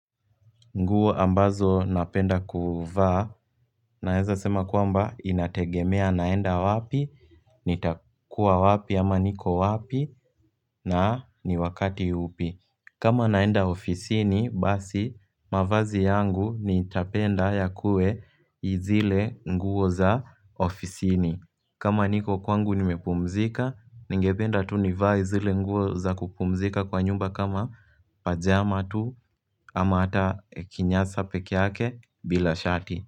Nguo ambazo napenda kuvaa naweza sema kwamba inategemea naenda wapi, nitakua wapi, ama niko wapi na ni wakati upi. Kama naenda ofisini basi mavazi yangu nitapenda yakue zile nguo za ofisini. Kama niko kwangu nimepumzika, ningependa tu nivae zile nguo za kupumzika kwa nyumba kama pajama tu ama hata kinyasa pekee yake bila shati.